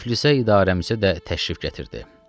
Tiflisə idarəmsə də təşrif gətirdi.